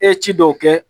E ye ci dɔw kɛ